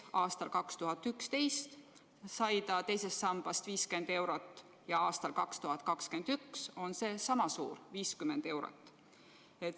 Aastal 2011 sai ta II sambast 50 eurot kuus ja aastal 2021 on saadav summa endiselt sama suur, 50 eurot.